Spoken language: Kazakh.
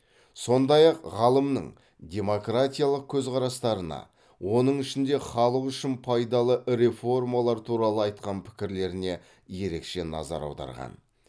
сондай ақ ғалымның демократиялық көзқарастарына оның ішінде халық үшін пайдалы реформалар туралы айтқан пікірлеріне ерекше назар аударған